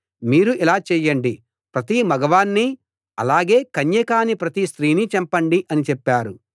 మీరు ఇలా చేయండి ప్రతి మగవాణ్ణీ అలాగే కన్య కాని ప్రతి స్త్రీనీ చంపండి అని చెప్పారు